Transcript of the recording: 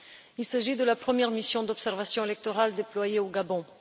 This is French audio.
Il s'agit de la première mission d'observation électorale déployée au Gabon.